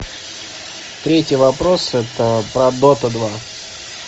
третий вопрос это про дота два